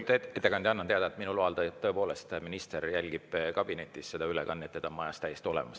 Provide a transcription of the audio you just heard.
Lugupeetud ettekandja, annan teada, et minu loal tõepoolest minister jälgib kabinetis seda ülekannet ja ta on majas täiesti olemas.